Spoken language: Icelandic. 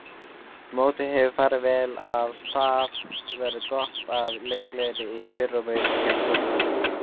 Mótið hefur farið vel af stað enda veður gott og leikgleðin í fyrirrúmi hjá stúlkunum.